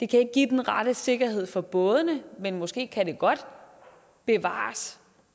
kan give den rette sikkerhed for bådene måske kan det godt bevares